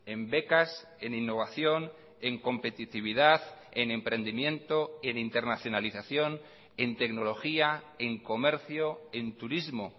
en becas en innovación en competitividad en emprendimiento en internacionalización en tecnología en comercio en turismo